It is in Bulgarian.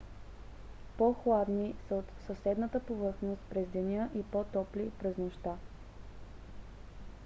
по-хладни са от съседната повърхност през деня и по-топли през нощта